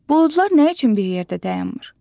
Buludlar nə üçün bir yerdə dayanmır?